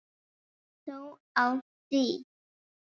Lítið ber þó á því.